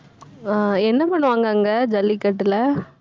ஆஹ் என்ன பண்ணுவாங்க அங்க ஜல்லிக்கட்டுல